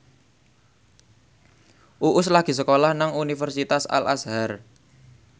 Uus lagi sekolah nang Universitas Al Azhar